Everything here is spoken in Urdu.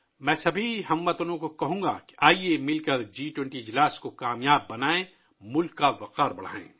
میں ، تمام ہم وطنوں سے گزارش کروں گا کہ آیئے ، مل کر جی 20 سربراہ اجلاس کو کامیاب بنائیں اور ملک کی شان بڑھائیں